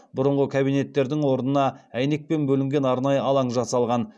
бұрынғы кабинеттердің орнына әйнекпен бөлінген арнайы алаң жасалған